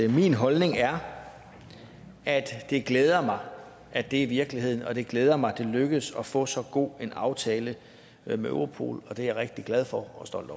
min holdning er at det glæder mig at det er virkeligheden og det glæder mig at det er lykkedes at få så god en aftale med europol det er jeg rigtig glad for og stolt